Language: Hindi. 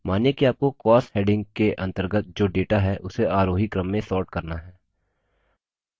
मानिए कि आपको costs heading के अंतर्गत जो data है उसे आरोही क्रम में sort करना है